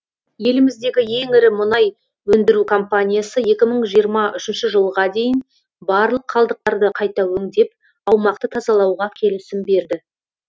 еліміздегі ең ірі мұнай өндіру компаниясы екі мың жиырма үшінші жылға дейін барлық қалдықтарды қайта өңдеп аумақты тазалауға келісім берді